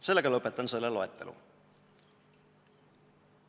Sellega lõpetan loetelu.